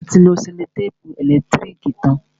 A ti lo sẹ́lòtèpù ẹ̀lẹ́tírìkì tán.